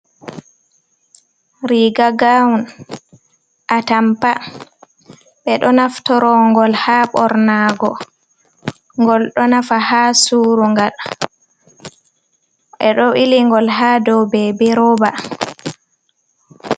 Riga gaun a tampa ɓe ɗo naftorogol ha Ɓorna go gol ɗo nafa ha surugal ɓe ɗo bili gol ha ɗou bebi roba.